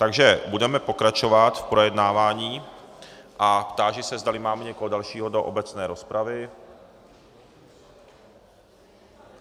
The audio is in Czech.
Takže budeme pokračovat v projednávání a táži se, zdali máme někoho dalšího do obecné rozpravy.